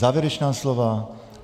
Závěrečná slova?